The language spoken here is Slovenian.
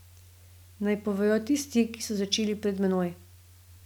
Naj povejo tisti, ki so začeli pred menoj.